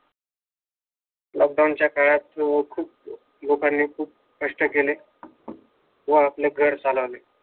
lockdown च्या काळात खूप लोकांनी खूप कष्ट केले व आपले घर चालवले